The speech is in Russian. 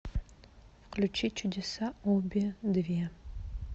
включи чудеса обе две